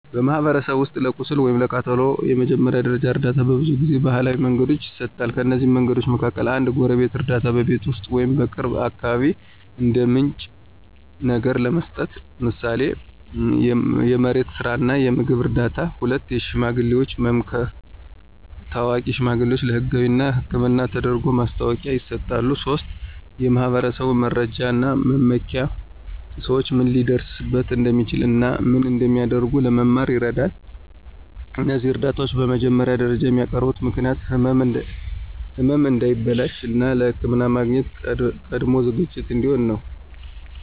በማኅበረሰብ ውስጥ ለቁስል ወይም ለቀላል ቃጠሎ የመጀመሪያ ደረጃ እርዳታ በብዙ ጊዜ ባህላዊ መንገዶች ይሰጣል። ከእነዚህ መንገዶች መካከል፦ 1. የጎረቤት እርዳታ – በቤት ውስጥ ወይም በቅርብ አካባቢ እንደ ምንጭ ነገር ለመስጠት፣ ምሳሌ የመሬት ስራ እና የምግብ እርዳታ። 2. የሽማግሌዎች መምከር – ታዋቂ ሽማግሌዎች ለህጋዊ እና ሕክምና ተደርጎ ማስታወቂያ ይሰጣሉ። 3. የማኅበረሰብ መረጃ እና መመኪያ – ሰዎች ምን ሊደርስበት እንደሚችል እና ምን እንደሚያደርጉ ለመማር ይረዳል። እነዚህ እርዳታዎች በመጀመሪያ ደረጃ የሚያቀርቡ ምክንያት ህመም እንዳይበላሽ፣ እና ለሕክምና ማግኘት ቀድሞ ዝግጅት እንዲሆን ነው።